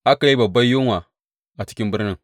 Aka yi babban yunwa a cikin birnin.